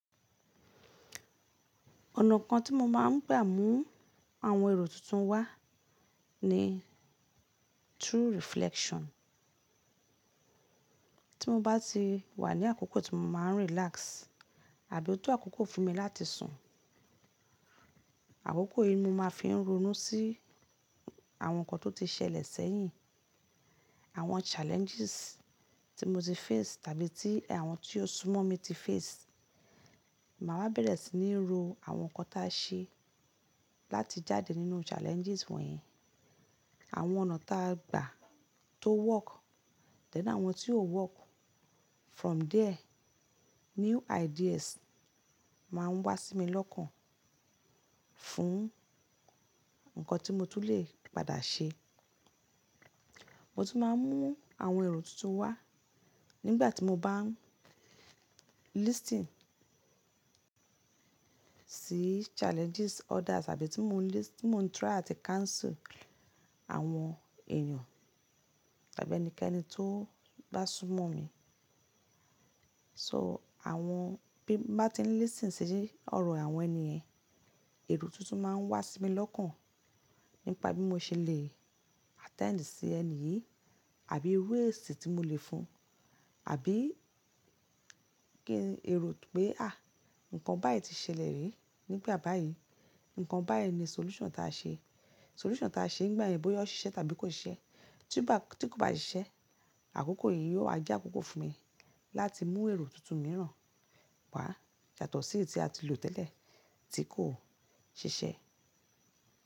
Ọ̀nà kan tí mo máa ń gbà mú àwọn èrò tuntun wá ni through reflection. Tí mo bá ti wà ní àkókò tí mo máa ń relax àbí ó tó àkókò fún mi láti sùn. Àkókò yìí mo máa ń fi ń ronú sí àwọn nǹkan tó ti ṣẹlẹ̀ sẹ́yìn, àwọn challenges tí mo ti face tàbí tí àwọn tí ó súmọ́ mi ti face. Máa ma bẹ̀rẹ̀ sí ní ro àwọn nǹkan tí a ṣe láti jáde nínú challenges wọ̀nyí. Àwọn ọ̀nà ta gba tó work then àwọn tí ó work. From there new ideas máa ń wá sí mi lọ́kàn fún nǹkan tí mo tún lè padà ṣe. Mo tún máa ń mú àwọn èrò tuntun wá nígbà tí mo bá ń listening sí challenges others àbí tí mo ń list-- tí mo ń try àti counsel àwọn èèyàn tàbí ẹnikẹ́ni tó bá súmọ̀ mi. So àwọn bí mo bá ti ń listening sí ọ̀rọ̀ àwọn ènìyàn, èrò tuntun máa ń wá sí mi lọ́kàn nípa bí mo ṣe lè attend sí ẹni yìí àbí ways tí mo lè fún un, àbí kí n èrò pé à! Ǹkan báyìí ti ṣẹlẹ̀ rí, nígbà báyìí ǹkan báyìí ni solution ta ṣe. Solution ta ṣe nígbà yen bóyá ó ṣiṣẹ́ tàbí kò ṣiṣẹ́. Tí kò bá ṣiṣẹ́, àkókò yìí yóò jẹ́ àkókò fún mi láti mú èrò tuntun mìíràn wá yàtọ̀ sí èyí tí a ti lò tẹ́lẹ̀ tí kò ṣiṣẹ́